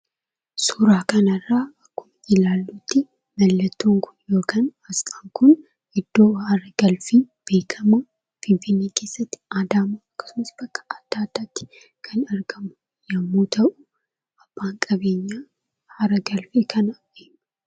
suuraa kanarraa akkuma ilaalluttii mallattoon kun yookiin asxaan kun iddoo haaragalfii beekkamaa finfinnee keessatti adaamaatti akkasumas bakka adda addaatti kan argamu yommuu ta'u abbaan qabeenyaa haaragalfii kanaa eenyu?